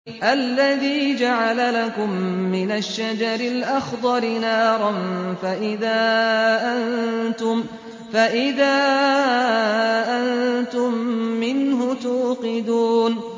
الَّذِي جَعَلَ لَكُم مِّنَ الشَّجَرِ الْأَخْضَرِ نَارًا فَإِذَا أَنتُم مِّنْهُ تُوقِدُونَ